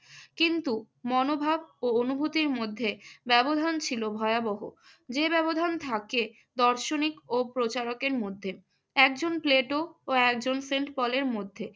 কিন্ত মনোভাব ও অনুভূতির মধ্যে ব্যবধান ছিল ভয়াবহ। যে ব্যবধান থাকে দার্শনিক ও প্রচারকের মধ্যে। একজন প্লেটু আর একজন সেন্ট পলের মধ্যে।